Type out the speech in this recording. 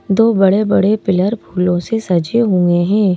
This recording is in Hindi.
दो बड़े बड़े पिलर फूलों से सजे हुए हैं।